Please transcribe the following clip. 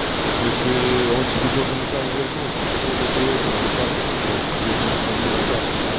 ты в смыслее он тебе должен их вернуть это ты это ты этому джасу пиши это тебе в смысле должны отдать нихуя